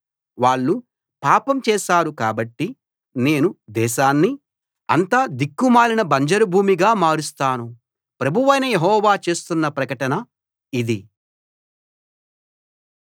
వాళ్ళు పాపం చేశారు కాబట్టి నేను దేశాన్ని అంతా దిక్కుమాలిన బంజరు భూమిగా మారుస్తాను ప్రభువైన యెహోవా చేస్తున్న ప్రకటన ఇది